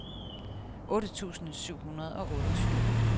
otte tusind syv hundrede og otteogtyve